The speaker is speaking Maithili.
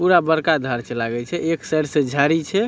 पूरा बड़का घर छै लागे छै एक साइड झाड़ी छै ।